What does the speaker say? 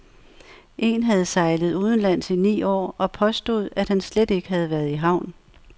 En havde sejlet udenlands i ni år og påstod, at han slet ikke havde været i havn.